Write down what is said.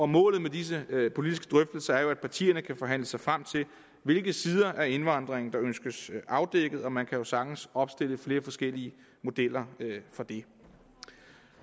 målet med disse politiske drøftelser er at partierne kan forhandle sig frem til hvilke sider af indvandringen der ønskes afdækket og man kan jo sagtens opstille flere forskellige modeller for det